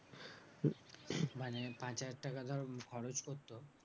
মানে পাঁচ হাজার টাকা ধর খরচ করতো?